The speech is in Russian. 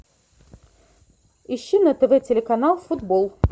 ищи на тв телеканал футбол